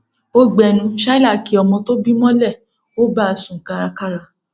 ó gbénú shaila kí ọmọ tó bí mọlẹ ó bá a sún kárakára